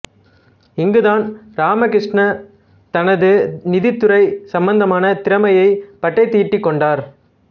இங்குதான் ராமகிருஷ்ணா தனது நிதித்துறை சம்பந்தமான திறமையைப் பட்டைதீட்டிக் கொண்டாா்